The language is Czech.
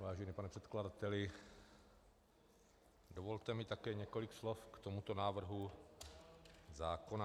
Vážený pane předkladateli, dovolte mi také několik slov k tomuto návrhu zákona.